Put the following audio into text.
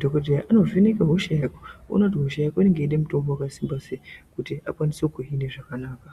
dhokoteya anovheneka hosha yako Oona kuti hosha yako inoda mutombo wakasimba sei kuti akwanise kukuhina zvakanaka.